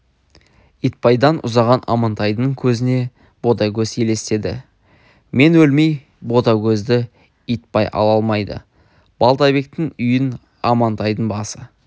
итбайдан ұзаған амантайдың көзіне ботагөз елестеді мен өлмей ботагөзді итбай ала алмайды балтабектің үйін амантайдың басы